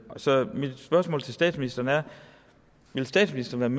så mit spørgsmål til statsministeren er vil statsministeren